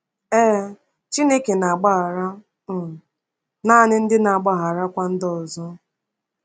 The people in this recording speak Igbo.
Ee, Chineke na-agbaghara um naanị ndị na-agbagharakwa ndị ọzọ.